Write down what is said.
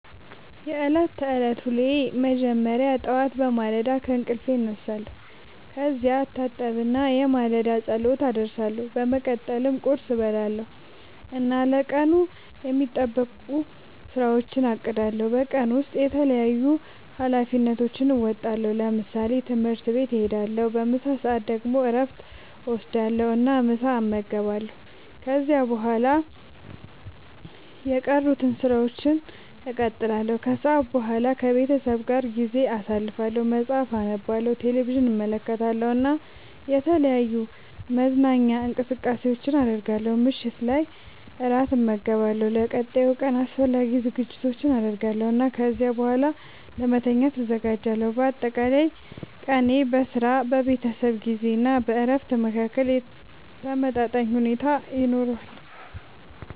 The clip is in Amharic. የዕለት ተዕለት ዉሎየ መጀመሪያ ጠዋት በማለዳ ከእንቅልፌ እነሳለሁ። ከዚያ እታጠብና የማለዳ ጸሎት አደርሳለሁ። በመቀጠልም ቁርስ እበላለሁ እና ለቀኑ የሚጠበቁ ሥራዎቼን አቅዳለሁ። በቀን ውስጥ የተለያዩ ኃላፊነቶቼን እወጣለሁ። ለምሳሌ፦ ትምህርት ቤት እሄዳለሁ። በምሳ ሰዓት ደግሞ እረፍት እወስዳለሁ እና ምሳ እመገባለሁ። ከዚያ በኋላ የቀሩትን ሥራዎች እቀጥላለሁ። ከሰዓት በኋላ ከቤተሰቤ ጋር ጊዜ አሳልፋለሁ፣ መጽሐፍ አነባለሁ፣ ቴሌቪዥን እመለከታለሁ እና የተለያዩ መዝናኛ እንቅስቃሴዎችን አደርጋለሁ። ምሽት ላይ እራት እመገባለሁ፣ ለቀጣዩ ቀን አስፈላጊ ዝግጅቶችን አደርጋለሁ እና ከዚያ በኋላ ለመተኛት እዘጋጃለሁ። በአጠቃላይ ቀኔ በሥራ፣ በቤተሰብ ጊዜ እና በእረፍት መካከል ተመጣጣኝ ሁኔታ ይኖረዋል።